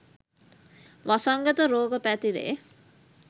වසංගත රෝග පැතිරේ